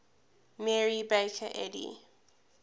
mary baker eddy